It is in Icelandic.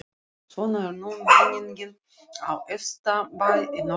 Svona er nú menningin á efsta bæ í Norðurárdal.